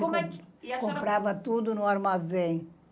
Como é que. Comprava tudo no armazém.